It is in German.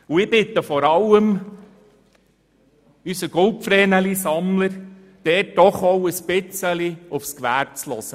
Ich bitte vor allem unseren «Goldvreneli»-Sammler, doch auch ein bisschen auf das Gewerbe zu hören.